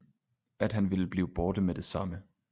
At han ville blive borte med det samme